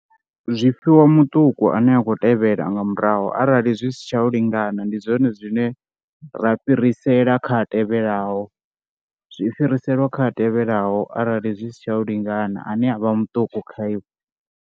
Zwi fhiwa muṱuku ane a khou tevhela nga murahu arali zwi si tsha u lingana ndi zwone zwine ra fhirisela kha a tevhelaho. Zwi fhiriselwa kha a tevhelaho arali zwi si tsha u lingana ane avha muṱuku kha iwe.